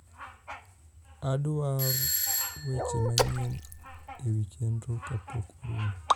adwar weche manyien ewi chenro kapok orumo